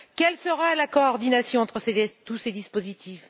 Quelle sera la coordination entre tous ces dispositifs?